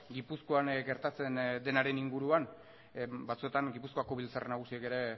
gipuzkoan gertatzen denaren inguruan batzuetan gipuzkoako biltzar nagusiak ere